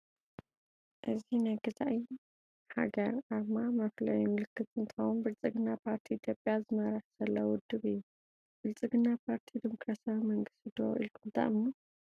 እዚ ናይ ገዛኢ ሃገር አርማ መፍለይ ምልክት እንትኸውን ብልፅግና ፓርቲ ኢትዮጵያ ዝመርሕ ዘሎ ውድብ እዩ። ብልፅግና ፓርቲ ዲሞክራሳዊ መንግስቲ ዶ ኢልኩም ተአምኑ?